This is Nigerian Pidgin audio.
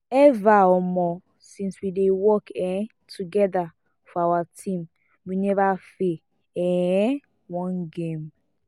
ever um since we dey work um together for our team we never fail um one game